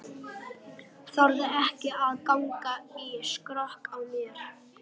Þorði ekki að ganga í skrokk á mér.